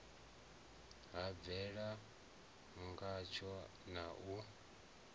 ha bvelela ngatsho na u